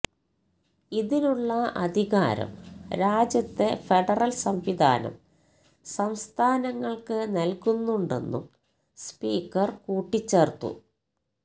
ഇതിനുള്ള അധികാരം രാജ്യത്തെ ഫെഡറൽ സംവിധാനം സംസ്ഥാനങ്ങൾക്ക് നൽകുന്നുണ്ടെന്നും സ്പീക്കർ കൂട്ടിച്ചേർത്തു